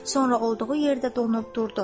Sonra olduğu yerdə donub durdu.